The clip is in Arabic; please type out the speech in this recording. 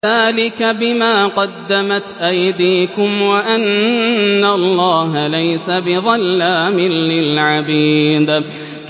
ذَٰلِكَ بِمَا قَدَّمَتْ أَيْدِيكُمْ وَأَنَّ اللَّهَ لَيْسَ بِظَلَّامٍ لِّلْعَبِيدِ